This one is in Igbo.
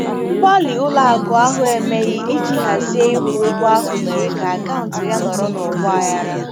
Mgbalị ụlọ akụ ahụ emeghị iji hazie ịkwụ ụgwọ ahụ mere ka akaụntụ ya nọrọ n'ọgba aghara.